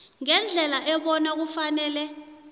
ngendlela ebona kufanele